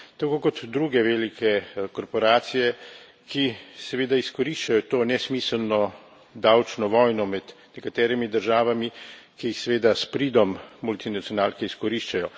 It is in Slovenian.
Tako kot druge velike korporacije, ki seveda izkoriščajo to nesmiselno davčno vojno med nekaterimi državami, ki seveda s pridom multinacionalke izkoriščajo.